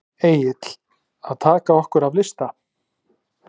Egill: Að taka okkur af lista?